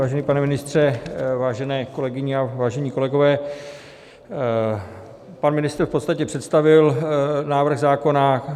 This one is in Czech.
Vážený pane ministře, vážené kolegyně a vážení kolegové, pan ministr v podstatě představil návrh zákona.